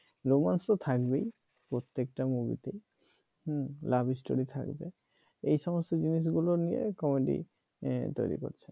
romance তো থাকবেই প্রত্যেকটা movie হুম love story থাকবে এই সমস্ত জিনিসগুলো নিয়ে comedy তৈরি করছে।